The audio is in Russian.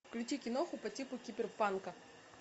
включи киноху по типу киберпанка